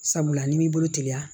Sabula n'i m'i bolo teliya